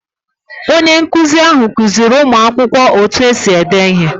Onye nkụzi ahụ kụziiri ụmụ akwụkwọ otú e si ede ihe.